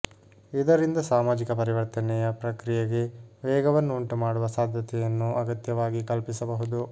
ಇದರಿಂದ ಸಾಮಾಜಿಕ ಪರಿವರ್ತನೆಯ ಪ್ರಕ್ರಿಯೆಗೆ ವೇಗವನ್ನು ಉಂಟುಮಾಡುವ ಸಾಧ್ಯತೆಯನ್ನು ಅಗತ್ಯವಾಗಿ ಕಲ್ಪಿಸಬಹುದು